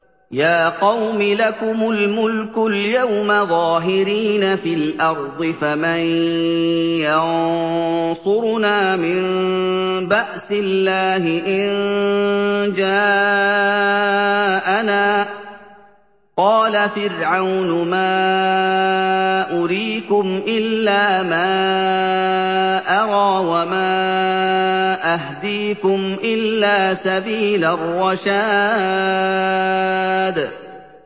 يَا قَوْمِ لَكُمُ الْمُلْكُ الْيَوْمَ ظَاهِرِينَ فِي الْأَرْضِ فَمَن يَنصُرُنَا مِن بَأْسِ اللَّهِ إِن جَاءَنَا ۚ قَالَ فِرْعَوْنُ مَا أُرِيكُمْ إِلَّا مَا أَرَىٰ وَمَا أَهْدِيكُمْ إِلَّا سَبِيلَ الرَّشَادِ